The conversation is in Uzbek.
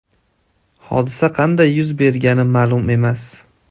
Hodisa qanday yuz bergani ma’lum emas.